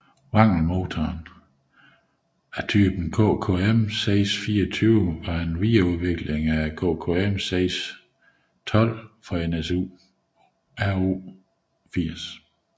Wankelmotoren af type KKM 624 var en videreudvikling af KKM 612 fra NSU Ro 80